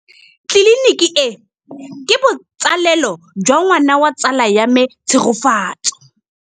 Tleliniki e, ke botsalêlô jwa ngwana wa tsala ya me Tshegofatso.